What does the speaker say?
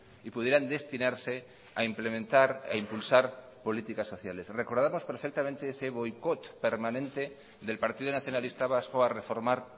y pudieran destinarse a implementar a impulsar políticas sociales recordamos perfectamente ese boicot permanente del partido nacionalista vasco a reformar